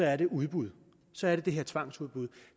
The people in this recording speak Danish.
er det udbud så er det det her tvangsudbud